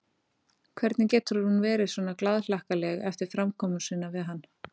Hvernig getur hún verið svona glaðhlakkaleg eftir framkomu sína við hann?